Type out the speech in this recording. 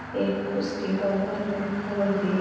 एक उसके बगल में फोर --